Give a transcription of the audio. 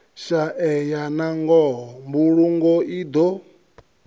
shaeya nangoho mbulungo i do